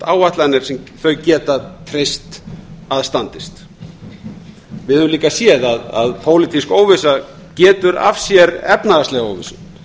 áætlanir sem þau geta breytt að standist við höfum líka séð að pólitísk óvissa getur af sér efnahagslega óvissu